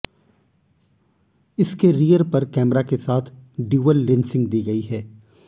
इसके रियर पर कैमरा के साथ ड्यूल लेंसिंग दी गई है